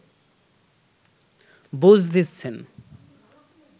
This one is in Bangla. বুঝ দিচ্ছেন